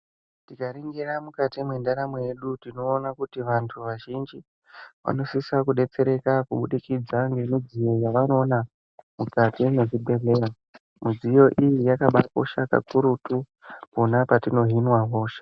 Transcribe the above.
Tikaringira mwukati mwendaramo yedu tinoona kuti vantu vazhinji vanosisa kudetsereka kubudikidza ngemidziyo yavanoona mwukati mwezvibhedhlera. Midziyo iyi yakabakosha kakurutu pona patinohinwa hosha.